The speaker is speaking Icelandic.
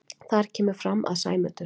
Þar kemur fram að Sæmundur